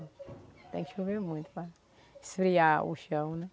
Tem que chover muito para esfriar o chão, né?